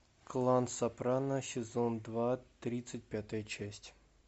клан сопрано сезон два тридцать пятая часть